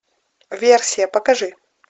версия покажи